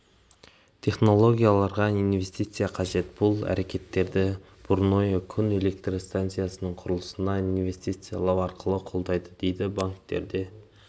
технологияларға инвестиция қажет бұл әрекеттерді бурное күн электр станциясының құрылысына инвестициялау арқылы қолдайды дейді банктерде